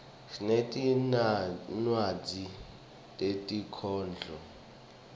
sinetinwadzi tetinkhondlo